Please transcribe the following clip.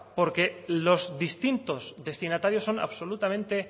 porque los distintos destinatarios son absolutamente